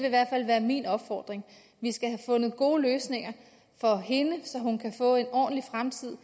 i hvert fald være min opfordring vi skal have fundet gode løsninger for hende så hun kan få en ordentlig fremtid